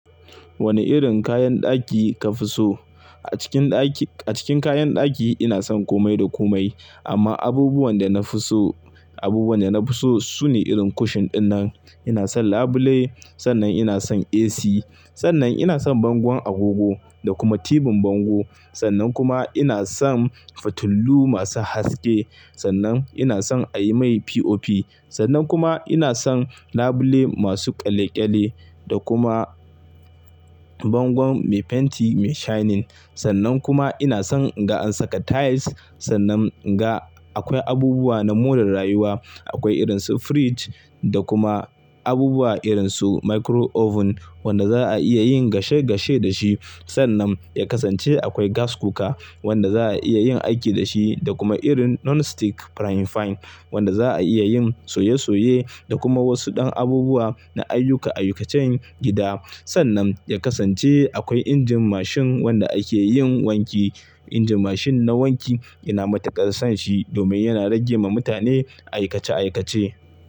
Wane irin kayan ɗaki ka fi so? A cikin ɗaki, a cikin kayan ɗaki ina son komai da komai. Amma abubuwan da na fi so, abubuwan da na fi so sune irin cushion ɗinnan, ina son labule, sannan ina son AC, sannan ina son bangon agogo da kuma tibin bango. Sannan kuma ina son futulu masu haske, sannan ina son a yi mai POP, sannan kuma ina son labule masu kyalle-kyalle da kuma bangon mai fenti mai shining. Sannan kuma ina son in ga an saka tiles, sannan ga akwai abubuwa na more rayuwa. Akwai irin su fridge da kuma abubuwa irin su micro oven wanda za a iya yin gashe-gashe da shi. Sannan ya kasance akwai gas cooker wanda za a iya yin aiki da shi da kuma irin non-stick frying pan wanda za a iya yin soye-soye da kuma wasu ɗan abubuwa na aikace-aikacen gida. Sannan ya kasance akwai injin machine wanda ake yin wanki. Injin machine na wanki ina matuƙar son shi domin yana rage wa mutane aikace-aikace.